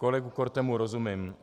Kolegovi Kortemu rozumím.